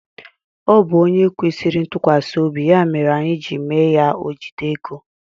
Ọ bụ ónyé kwesịrị ntukwasiobi ya mere anyị ji mee ya ojide égo.